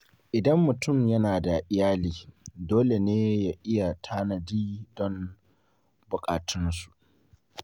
Idan mutum yana da iyali, dole ne ya yi tanadi don buƙatun su.